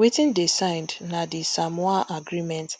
wetin dey signed na di samoa agreement